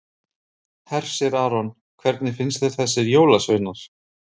Hersir Aron: Hvernig fannst þér þessir jólasveinar?